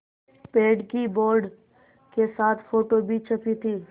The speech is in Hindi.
पेड़ की बोर्ड के साथ फ़ोटो भी छपी थी